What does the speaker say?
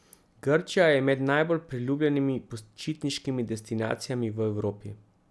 Grčija je med najbolj priljubljenimi počitniškimi destinacijami v Evropi.